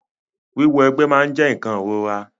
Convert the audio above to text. Wíwọ egbé máa n jẹ nkan ìrora.